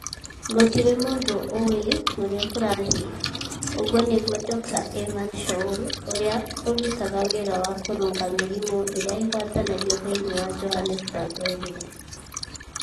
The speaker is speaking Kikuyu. Gũtirĩ mũndũ ũĩ ũrĩa kũrathiĩ,' ũguo nĩguo Dr. Evan Shoul, ũrĩa ũrutaga wĩra wa kũrũnga mĩrimũ ĩrĩa ĩgwatanagio thĩinĩ wa Johannesburg oigire.